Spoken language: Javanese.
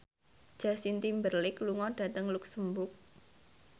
Justin Timberlake lunga dhateng luxemburg